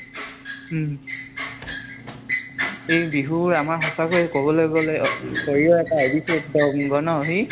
উম । এই বিহু আমাৰ সচাঁকৈয়ে কবলৈ গলে আভিচ্ছেদ্য় আংগ ন সি ?